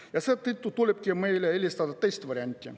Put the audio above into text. Ja seetõttu tulebki meil eelistada teist varianti.